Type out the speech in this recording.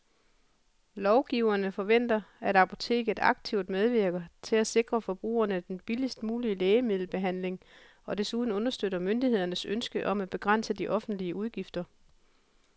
Lovgiverne forventer, at apoteket aktivt medvirker til at sikre forbrugerne den billigst mulige lægemiddelbehandling og desuden understøtter myndighedernes ønske om at begrænse de offentlige udgifter.